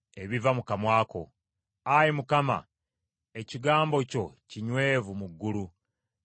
Ayi Mukama , Ekigambo kyo kinywevu mu ggulu, kya mirembe gyonna.